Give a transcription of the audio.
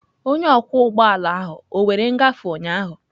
Onye ọkwọ ụgbọ ala ahụ ọ were ngafe ụnyaahụ?